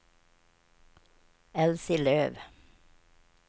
Elsie Löf